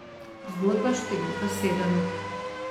Zgodba številka sedem.